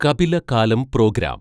കപില കാലം പ്രോഗ്രാം